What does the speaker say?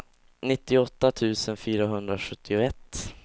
nittioåtta tusen fyrahundrasjuttioett